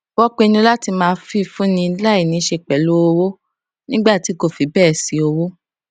wón pinnu láti máa fifúnni láì níṣe pẹlú owó nígbà tí kò fi béè sí owó